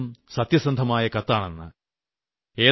കണ്ടാൽ തോന്നും സത്യസന്ധമായ കത്താണെന്ന്